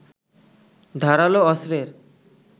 ধারালো অস্ত্রের